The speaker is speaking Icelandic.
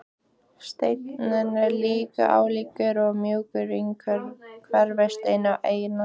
Steinninn er linur, álíka og mjúkur hverfisteinn en eitlarnir allharðir.